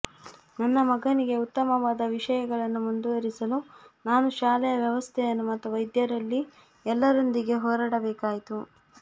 ನನ್ನ ಮಗನಿಗೆ ಉತ್ತಮವಾದ ವಿಷಯಗಳನ್ನು ಮುಂದುವರಿಸಲು ನಾನು ಶಾಲೆಯ ವ್ಯವಸ್ಥೆಯನ್ನು ಮತ್ತು ವೈದ್ಯರಲ್ಲಿ ಎಲ್ಲರೊಂದಿಗೆ ಹೋರಾಡಬೇಕಾಯಿತು